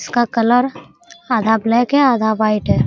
इसका कलर आधा ब्लैक है आधा व्हाइट है।